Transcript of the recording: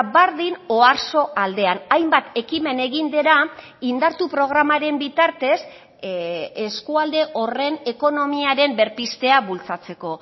berdin oarsoaldean hainbat ekimen egin dira indartu programaren bitartez eskualde horren ekonomiaren berpiztea bultzatzeko